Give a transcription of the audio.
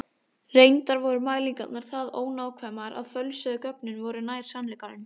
Reyndar voru mælingarnar það ónákvæmar að fölsuðu gögnin voru nær sannleikanum.